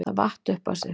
Það vatt upp á sig.